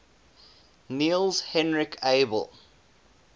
niels henrik abel